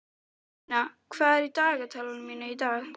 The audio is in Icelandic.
Júníana, hvað er í dagatalinu mínu í dag?